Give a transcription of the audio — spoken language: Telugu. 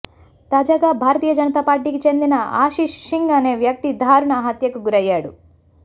తాజాగా భారతీయ జనతా పార్టీకి చెందిన ఆశిష్ సింగ్ అనే వ్యక్తి దారుణ హత్యకు గురయ్యాడు